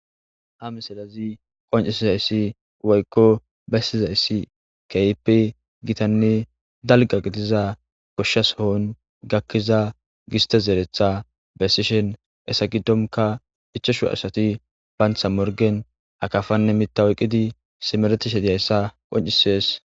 ha miselazi qoncisizayssi woykko bessizayssi kehipe gitanne dalga qitiza koshshas hohon gakkiza giste zeeretha bessishen esa giddonka hichoshu asati bantha morgen akafanne mita oyqqidi simeretishe diyayssa qoncisees